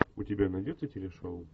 у тебя найдется телешоу